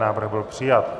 Návrh byl přijat.